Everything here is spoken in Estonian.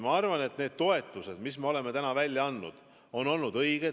Ma arvan, et need toetused, mis me oleme välja andnud, on olnud õiged.